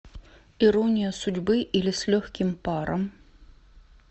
ирония судьбы или с легким паром